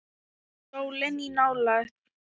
Sólin í nálægð.